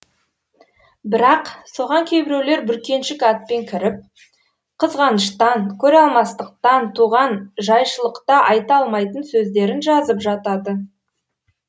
бірақ соған кейбіреулер бүркеншік атпен кіріп қызғаныштан көре алмастықтан туған жайшылықта айта алмайтын сөздерін жазып жатады